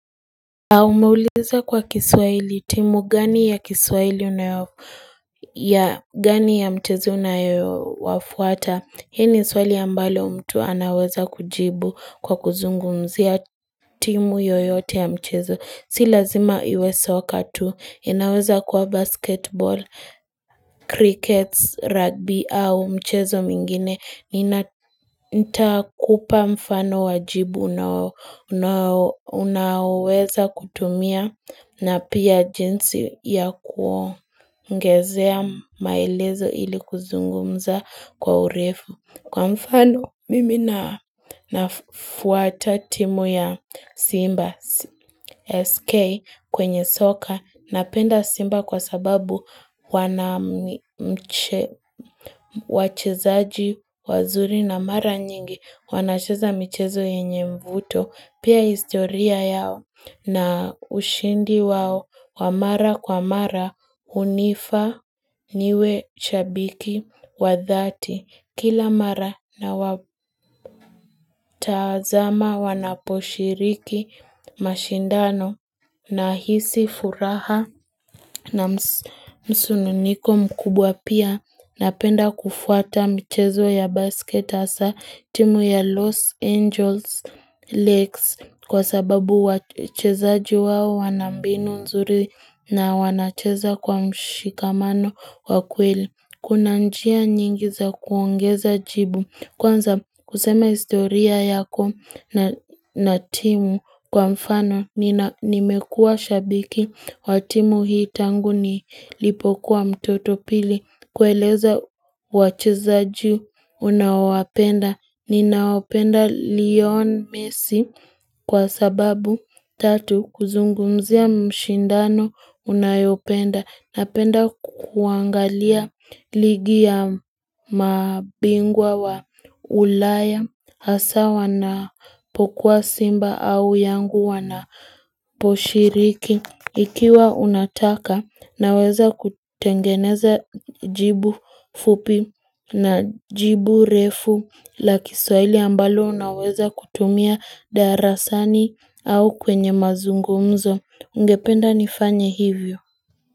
Au umeuliza kwa kiswahili timu gani ya kiswahili ya gani ya mchezo unayowafuata, hii ni swali ambalo mtu anaweza kujibu kwa kuzungumzia timu yoyote ya mchezo, si lazima iwe soka tu, inaweza kuwa basketball, crickets, rugby au mchezo mingine, nina nitakupa mfano wajibu unaoweza kutumia na pia jinsi ya kuongezea maelezo ili kuzungumza kwa urefu. Kwa mfano mimi na nafuata timu ya Simba SK kwenye soka na penda Simba kwa sababu wana wachezaji wazuri na mara nyingi wanacheza michezo yenye mvuto. Pia historia yao na ushindi wao wa mara kwa mara unifa niwe shabiki wa dhati kila mara nawatazama wanaposhiriki mashindano nahisi furaha na msununiko mkubwa pia. Napenda kufuata mchezo ya basket hasa timu ya Los Angeles Lakes kwa sababu wachezaji wao wanambinu nzuri na wanacheza kwa mshikamano wa kweli. Kuna njia nyingi za kuongeza jibu. Kwanza kusema historia yako na timu kwa mfano nimekuwa shabiki wa timu hii tangu nilipokuwa mtoto pili. Kueleza wachezaji unaowapenda. Ninaopenda Leon Mesi kwa sababu tatu kuzungumzia mshindano unayopenda. Napenda kuangalia ligiya mabingwa wa ulaya hasa wanapokuwa simba au yanga wanaposhiriki. Ikiwa unataka naweza kutengeneza jibu fupi na jibu refu la kiswahili ambalo naweza kutumia darasani au kwenye mazungumzo. Ungependa nifanya hivyo.